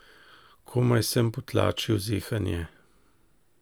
Komaj sem potlačil zehanje.